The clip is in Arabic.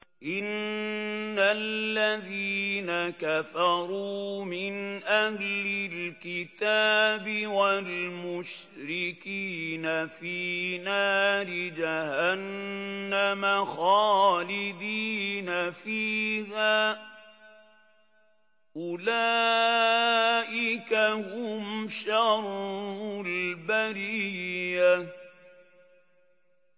إِنَّ الَّذِينَ كَفَرُوا مِنْ أَهْلِ الْكِتَابِ وَالْمُشْرِكِينَ فِي نَارِ جَهَنَّمَ خَالِدِينَ فِيهَا ۚ أُولَٰئِكَ هُمْ شَرُّ الْبَرِيَّةِ